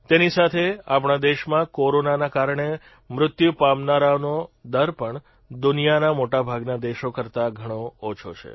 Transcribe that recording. તેની સાથે આપણા દેશમાં કોરોનાના કારણે મૃત્યુ પામનારાઓનો દર પણ દુનિયાના મોટાભાગના દેશો કરતાં ઘણો ઓછો છે